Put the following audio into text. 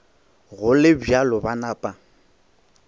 go le bjalo ba napa